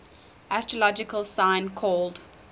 astrological sign called